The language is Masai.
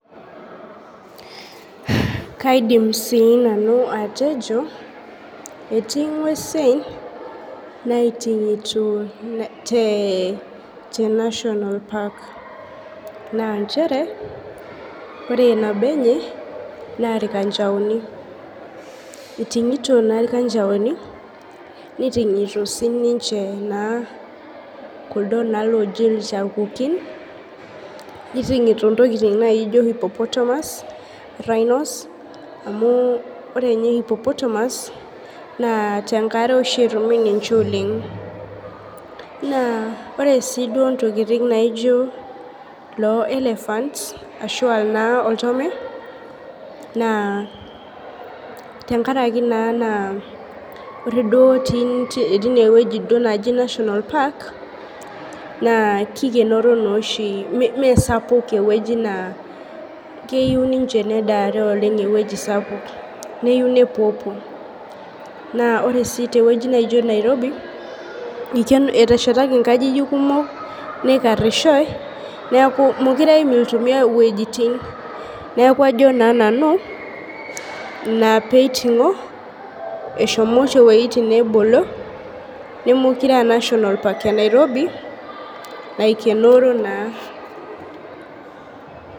Kaidim sii nanu atejo etii ng'uesin naiting'ito te te national park naa nchere ore nabo enye naa irkanchaoni iting'ito naa irkanachaoni niting'ito sininche naa kulodo naa looji ilchakukin niting'ito intokiting naijo hippopotamus rhinos amu ore inye hippopotamus naa tenkare oshi etumi ninche oleng naa ore sii duo ntokiting naijo loo elephant ashua naa oltome naa tenkaraki naa ore duo tii tinewueji duo neji national park naa kikenoro naa oshi mee mesapuk ewueji naa keiu ninche nedaare oleng ewueji sapuk neyieu nepuopuo naa ore sii tewueji neijo nairobi eteshetaki nkajijik kumok neikarrishoe niaku mekure eim iltomia iwuejitin neku ajo naa nanu ina peiting'o eshomo oshi iwuejitin neebolo nemekure aa national park e nairobi naikenoro naa.